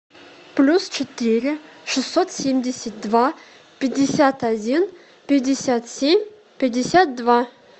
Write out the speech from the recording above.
плюс четыре шестьсот семьдесят два пятьдесят один пятьдесят семь пятьдесят два